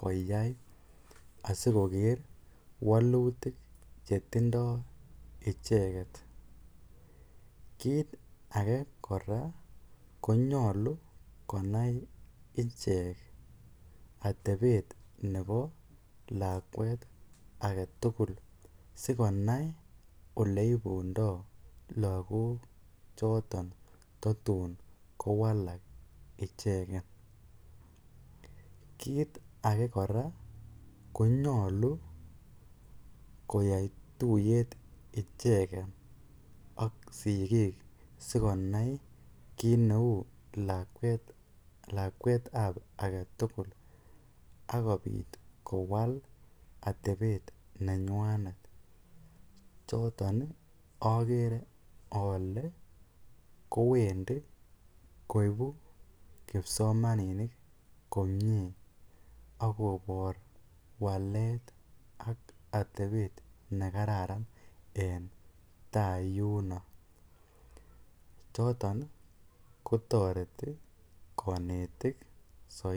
koyai asikoker walutik chetindoi icheket kiit age kora konyolu konai ichek atepet nebo lakwet agetugul sikonai oleipundoi lakok choton tatum kowalak icheket kiit age kora konyolu koyai tuyet icheket ak sikiik sikonai kiit neu lakwet ap age tugul akopit kowal atepet nenywanet choton agere ale kowendi koipu kipsomaninik komie akopor walet ak atepet nekaran eng tai yuno noton kotoreti konetik saidi.